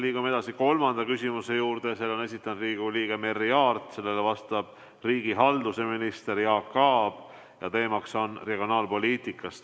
Liigume edasi kolmanda küsimuse juurde, selle on esitanud Riigikogu liige Merry Aart, sellele vastab riigihalduse minister Jaak Aab ja teema on regionaalpoliitika.